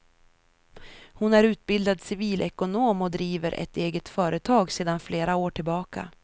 Hon är utbildad civilekonom och driver ett eget företag sedan flera år tillbaka.